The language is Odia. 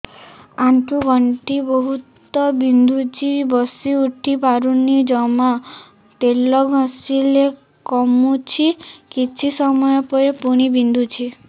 ଆଣ୍ଠୁଗଣ୍ଠି ବହୁତ ବିନ୍ଧୁଛି ବସିଉଠି ପାରୁନି ଜମା ତେଲ ଘଷିଲେ କମୁଛି କିଛି ସମୟ ପରେ ପୁଣି ବିନ୍ଧୁଛି